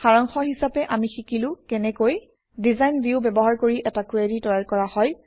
সাৰাংশ হিচাপে আমি শিকিলো কেনেকৈ ডিজাইন ভিউ ব্যৱহাৰ কৰি এটা কুৱেৰি তৈয়াৰ কৰা হয়